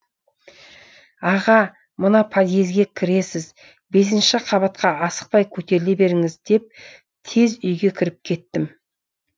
аға мына подъезге кіресіз бесінші қабатқа асықпай көтеріле беріңіз деп тез үйге кіріп кеттім